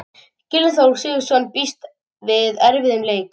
Gylfi Þór Sigurðsson býst við erfiðum leik.